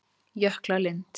Jöklalind